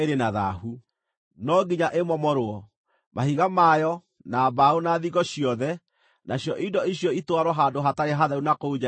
No nginya ĩmomorwo: mahiga mayo, na mbaũ, na thingo ciothe, nacio indo icio itwarwo handũ hatarĩ hatheru na kũu nja ya itũũra.